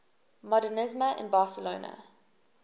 modernisme in barcelona